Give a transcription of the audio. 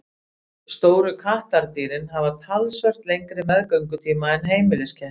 Stóru kattardýrin hafa talsvert lengri meðgöngutíma en heimiliskettir.